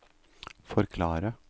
forklare